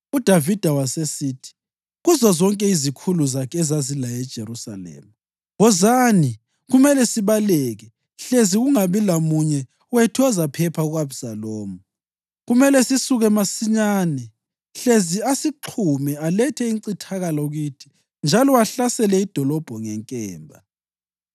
UDavida wasesithi kuzozonke izikhulu zakhe ezazilaye eJerusalema, “Wozani! Kumele sibaleke, hlezi kungabi lamunye wethu ozaphepha ku-Abhisalomu. Kumele sisuke masinyane hlezi asixhume alethe incithakalo kithi njalo ahlasele idolobho ngenkemba.”